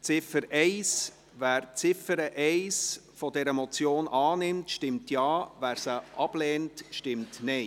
Wer die Ziffer 1 dieser Motion annimmt, stimmt Ja, wer diese ablehnt, stimmt Nein.